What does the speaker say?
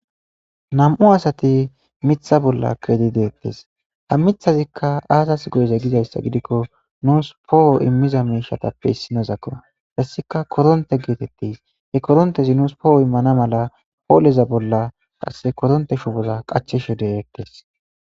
Nam'u asati mitha bolla kedi deettes ha mithazikka aasas goyeze gizayssa gidikko nuus pooho immiza miishatappe issinozakko hassika koronte geetettis he korontezi nuus pooho immana mala pooleza bolla qasse koronte shu boza qacheshode eqtes.